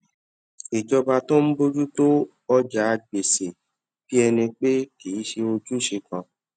ìjọba tó ń bójú tó ọjà gbèsè bí ẹni pé kì í ṣe irú ojúṣe kan